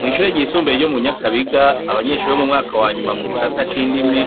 Mw'ishure ryisumbuye ryo mu Nyakabiga, abanyeshure bo mu mwaka wa nyuma mu gisata c'indimi,